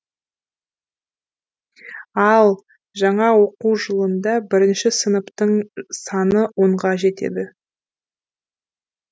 ал жаңа оқу жылында бірінші сыныптың саны онға жетеді